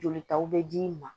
Jolitaw bɛ d'i ma